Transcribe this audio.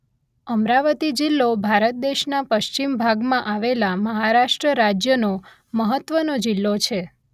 અમરાવતી જિલ્લો ભારત દેશના પશ્ચિમ ભાગમાં આવેલા મહારાષ્ટ્ર રાજ્યનો મહત્વનો જિલ્લો છે